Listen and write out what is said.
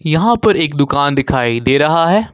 यहां पर एक दुकान दिखाई दे रहा है।